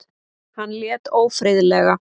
Hann lét ófriðlega.